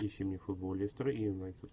ищи мне футбол лестера и юнайтед